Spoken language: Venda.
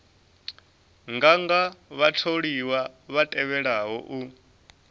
nganga vhatholiwa vha tevhelaho u